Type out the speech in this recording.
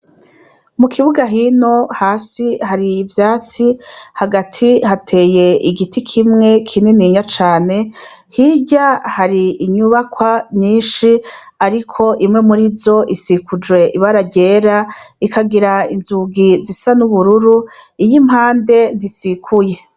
Mu kibuga hino hasi hari ivyatsi hagati hateye igiti kimwe kininiya cane hirya hari inyubakwa nyinshi ariko imwe murizo isikujwe ibara ryera ikagira inzugi zisa n' ubururu iy' impande ntisikuye.